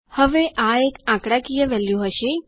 હવે આ એક આંકડાકીય કિંમત હશે